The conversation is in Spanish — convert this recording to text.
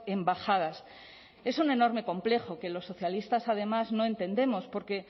embajadas es un enorme complejo que los socialistas además no entendemos porque